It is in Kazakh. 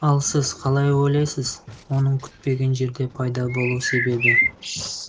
ал сіз қалай ойлайсыз оның күтпеген жерде пайда болу себебі